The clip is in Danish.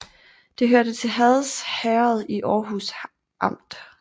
Det hørte til Hads Herred i Aarhus Amt